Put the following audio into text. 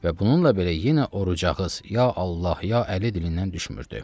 Və bununla belə yenə oruc ağız, ya Allah, ya Əli dilindən düşmürdü.